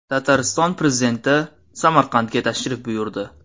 Tatariston prezidenti Samarqandga tashrif buyurdi.